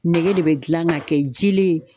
Nɛgɛ de be gilan ka kɛ jilen ye